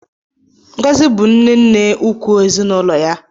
Ngozi bụ nne-nne ukwu ezinụlọ ya.